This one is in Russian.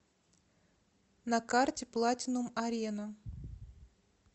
на карте платинум арена